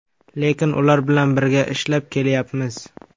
Lekin ular bilan birga ishlab kelyapmiz.